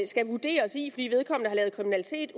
skal vurderes i fordi vedkommende har lavet kriminalitet